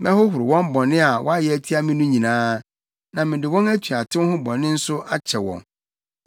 Mɛhohoro wɔn bɔne a wɔayɛ atia me no nyinaa, na mede wɔn atuatew ho bɔne nso akyɛ wɔn.